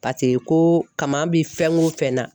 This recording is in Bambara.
ko kama bi fɛn o fɛn na